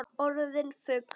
Orðin fugl.